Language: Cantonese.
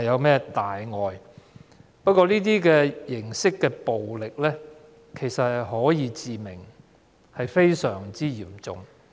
不過，這種形式的暴力其實可以致命，是非常嚴重的。